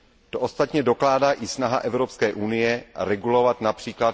To ostatně dokládá i snaha Evropské unie regulovat např.